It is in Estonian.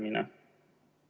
Aitäh!